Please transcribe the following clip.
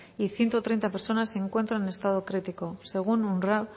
y ciento treinta personas se encuentra en estado crítico según unrwa